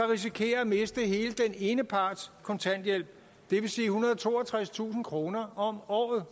risikerer at miste hele den ene parts kontanthjælp det vil sige ethundrede og toogtredstusind kroner om året